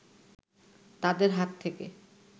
তাদের হাত থেকে